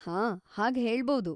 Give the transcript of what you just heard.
ಹಾಂ, ಹಾಗ್‌ ಹೇಳ್ಬೌದು.